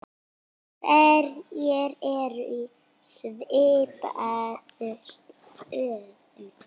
Hverjir eru í svipuðum stöðum?